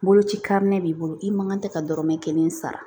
Boloci karilen b'i bolo i man kan tɛ ka dɔrɔmɛ kelen sara